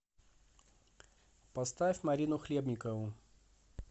поставь марину хлебникову